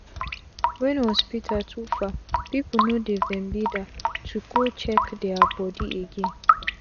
wen hospital too far pipu no dey ven bida to go check dia bodi again